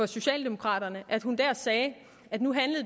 socialdemokraterne sagde at